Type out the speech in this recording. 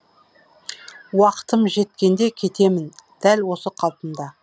уақытым жеткенде кетемін дәл осы қалпымда